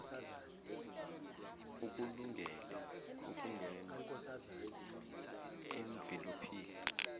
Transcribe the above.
ukulungele ukungena emvilophini